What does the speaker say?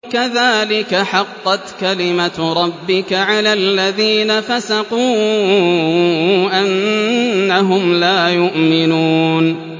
كَذَٰلِكَ حَقَّتْ كَلِمَتُ رَبِّكَ عَلَى الَّذِينَ فَسَقُوا أَنَّهُمْ لَا يُؤْمِنُونَ